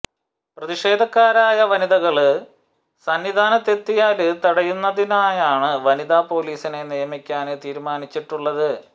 പ്രതിഷേധക്കാരായ വനിതകള് സന്നിധാനത്തെത്തിയാല് തടയുന്നതിനായാണ് വനിതാ പോലീസിനെ നിയമിക്കാന് തീരുമാനിച്ചിട്ടുള്ളത്